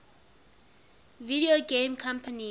video game companies